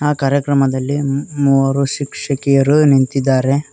ಆ ಕಾರ್ಯಕ್ರಮದಲ್ಲಿ ಮೂವರು ಶಿಕ್ಷಕಿಯರು ನಿಂತಿದ್ದಾರೆ.